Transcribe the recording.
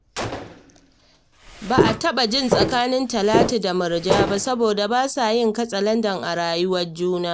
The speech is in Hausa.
Ba a taɓa jin tsakanin Talatu da Murja ba saboda ba sa yin katsalandan a rayuwar juna